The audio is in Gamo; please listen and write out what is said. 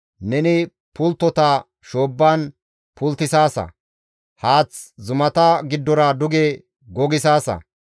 Neni pulttota shoobban pulttisaasa; haath zumata giddora duge gogissaasa.